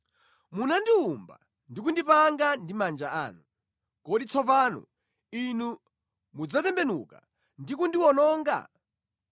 “Munandiwumba ndi kundipanga ndi manja anu. Kodi tsopano Inu mudzatembenuka ndi kundiwononga?